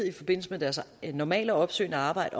i forbindelse med deres normale opsøgende arbejde